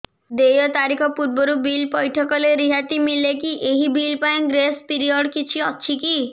ଦେୟ ତାରିଖ ପୂର୍ବରୁ ବିଲ୍ ପୈଠ କଲେ ରିହାତି ମିଲେକି ଏହି ବିଲ୍ ପାଇଁ ଗ୍ରେସ୍ ପିରିୟଡ଼ କିଛି ଅଛିକି